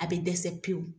A bɛ dɛsɛ pewu